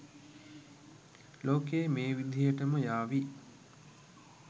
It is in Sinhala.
ලෝකය මේ විදිහටම යාවී